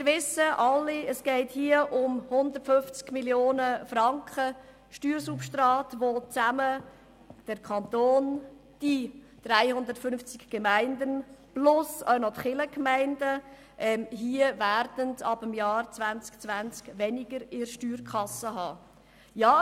Wir wissen alle, dass es um ein Steuersubstrat von 150 Mio. Franken geht, welches dem Kanton, den 350 Gemeinden und den Kirchgemeinden ab dem Jahr 2020 in der Steuerkasse fehlen wird.